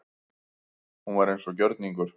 Hún var eins og gjörningar.